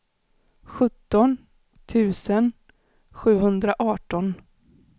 sjutton tusen sjuhundraarton